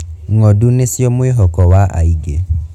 Ng'ondu nicio mwihoko wa aingi.